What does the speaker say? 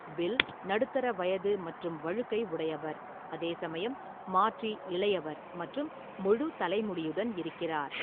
Bill நடுத்தர வயது மற்றும் வழுக்கை உடையவர், அதே சமயம் மார்ட்டி இளையவர் மற்றும் முழு தலை முடியுடன் இருக்கிறார்.